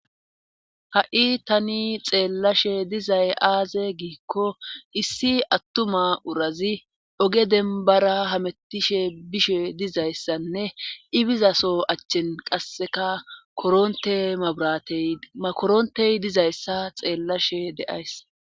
Ha7i tani xeellashe dizay aaze giikko issi attuma urazi oge dembara hamettishe bishe dizayssanne ibizaso achchen qasseka koronte maburatey makorontey dizayssa xeellashe deays.